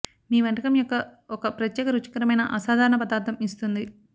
మీ వంటకం యొక్క ఒక ప్రత్యేక రుచికరమైన అసాధారణ పదార్ధం ఇస్తుంది